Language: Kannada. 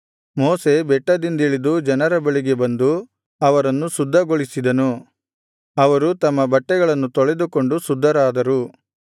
ಮೋಶೆ ಬೆಟ್ಟದಿಂದಿಳಿದು ಜನರ ಬಳಿಗೆ ಬಂದು ಅವರನ್ನು ಶುದ್ಧಗೊಳಿಸಿದನು ಅವರು ತಮ್ಮ ಬಟ್ಟೆಗಳನ್ನು ತೊಳೆದುಕೊಂಡು ಶುದ್ಧರಾದರು